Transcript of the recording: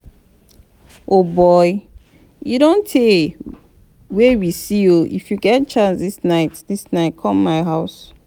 o boy e don tey wey we see oo if you get chance dis night dis night come my house